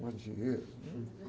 Não é dinheiro.